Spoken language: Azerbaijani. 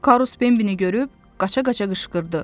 Karus Bembini görüb, qaça-qaça qışqırdı.